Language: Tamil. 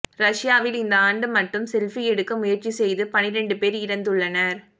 ரஷ்யாவில் இந்த ஆண்டு மட்டும் செல்பி எடுக்க முயற்சி செய்து பனிரெண்டு பேர் இறந்துள்ளனர்